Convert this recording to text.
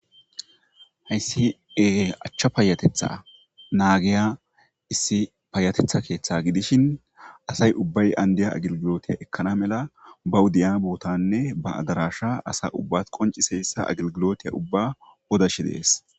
hayssi e achcha paayatetha naagiya issi paayatetha keeththa gidishin asay ubbay andiya agilgilotiya ekkana mela ba wuddiya buutanne ba adarasha asa ubba qonciseyssa agilgilotiya ubba odash dees